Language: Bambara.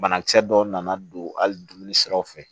Banakisɛ dɔw nana don hali dumuni siraw fɛ